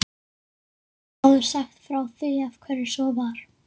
Ég hef áður sagt frá því af hverju svo var.